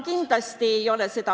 Viis isegi.